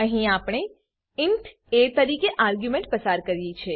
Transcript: અહીં આપણે ઇન્ટ એ તરીકે એક આર્ગ્યુંમેંટ પસાર કરી છે